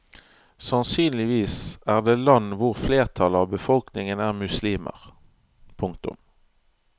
Sannsynligvis er det land hvor flertallet av befolkningen er muslimer. punktum